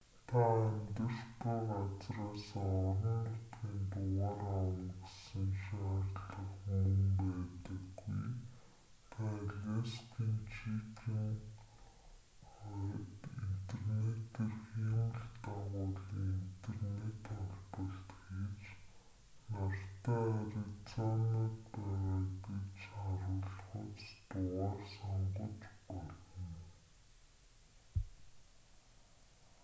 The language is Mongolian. та амьдарч буй газраасаа орон нутгийн дугаар авна гэсэн шаардлага мөн байдаггүй та аляскийн чикен ойд интернетээр хиймэл дагуулын интернет холболт хийж нартай аризонад байгаа гэж харуулахуйц дугаар сонгож болно